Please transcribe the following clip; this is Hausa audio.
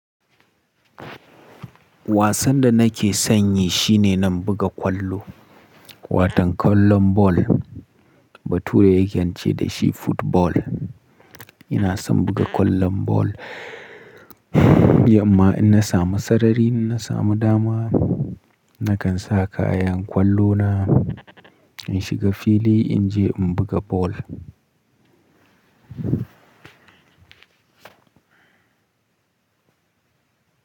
Wasan da nake sanyi shine na buga kwallo, watan kwallon ball. Batura yake ce dashi football. Ina son buga kwallon ball, yamma in na samu sarari, in na samu dama nakan sa kayan kwallo na, in shiga fili in je in buga ball.